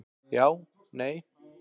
Já, nei.